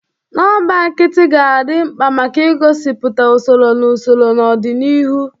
Nọmba nkịtị ga-adị mkpa maka igosipụta usoro na usoro n'ọdịniihu.